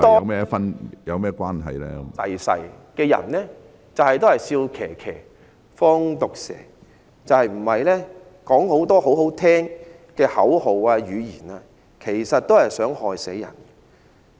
歷史上很多人都是"笑騎騎，放毒蛇"，說很多動聽的口號，其實都是想害死人。